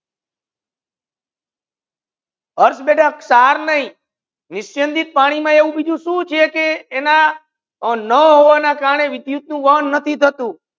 અર્થ બેટા સાર નહિ નિશ્યંદિત પાની મા અયુ બીજુ સુ છે કે એના ના થવા ના કરને વિદ્યુત નુ વહન થતુ નથી